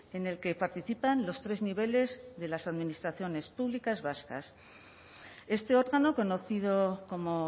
en el que participan los tres niveles de las administraciones públicas vascas este órgano conocido como